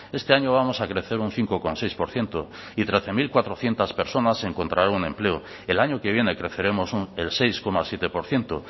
este año vamos a crecer un cinco coma seis por ciento y trece mil cuatrocientos personas encontrarán un empleo el año que viene creceremos el seis coma siete por ciento